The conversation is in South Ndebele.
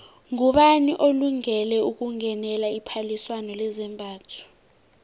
ngubani olungele ukungenela iphaliswano lezambatho